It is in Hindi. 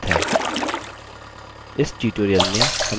इस tutorial में हम सीखेंगे कि